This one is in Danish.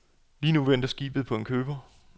Lige nu venter skibet på en køber.